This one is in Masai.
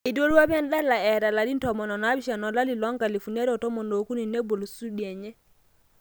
Eiterua apa adala eta larin 17 olari le 2013 nebol studio enye.